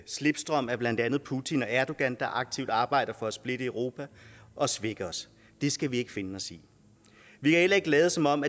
slipstrømmen af blandt andet putin og erdogan der aktivt arbejder for at splitte europa og svække os det skal vi ikke finde os i vi kan heller ikke lade som om